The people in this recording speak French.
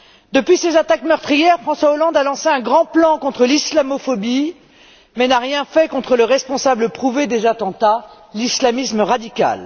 Depuis ces attaques meurtrières, François Hollande a lancé un grand plan contre l'islamophobie, mais n'a rien fait contre le responsable prouvé des attentats l'islamisme radical.